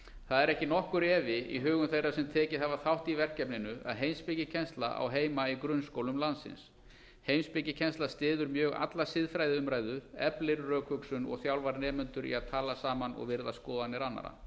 það er ekki nokkur efi í hugum þeirra sem tekið hafa þátt í verkefninu að heimspekikennsla á heima í grunnskólum landsins heimspekikennsla styður mjög alla siðfræðiumræðu eflir rökhugsun og þjálfar nemendur í að tala saman og virða skoðanir annarra